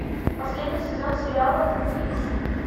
последний сезон сериала твин пикс